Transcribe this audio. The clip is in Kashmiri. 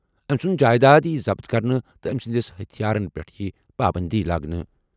أمۍ سُنٛد جائیداد یِیہِ ضبط کرنہٕ تہٕ أمۍ سٕنٛدِس ہتھیارَن پٮ۪ٹھ یِیہِ پابٔنٛدی لاگنہٕ۔